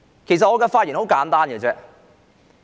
其實我的發言十分簡單。